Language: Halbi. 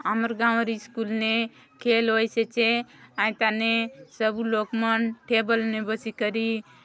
हमर गाव री स्कूल ने खेल होइसे चे आइटने साभी लोक मन टेबल ने बासीकारी--